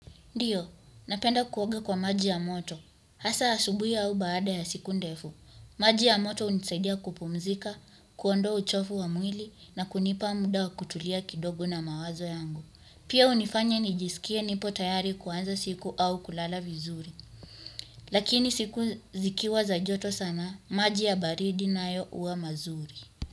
Ndiyo, napenda kuoga kwa maji ya moto hasa asubuhi au baada ya siku ndefu. Maji ya moto hunisaidia kupumzika kuondoa uchafu wa mwili na kunipa mda wa kutulia kidogo na mawazo yangu pia hunifanya nijisikie nipo tayari kuanza siku au kulala vizuri. Lakini siku zikiwa za joto sana, maji ya baridi nayo huwa mazuri.